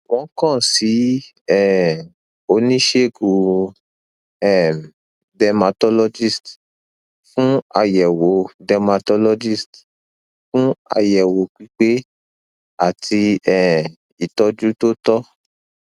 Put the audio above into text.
wọn kan si um onisegun um dermatologist fun ayẹwo dermatologist fun ayẹwo pipe ati um itọju to tọ